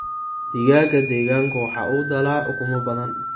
Digaagga deegaanku waxa uu dhalaa ukumo badan.